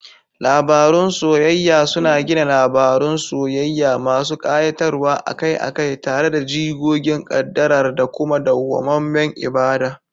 Labarun soyayya suna gina labarun soyayya masu kayatarwa, akai-akai tare da jigogin kaddara da kuma dawwamammen ibada.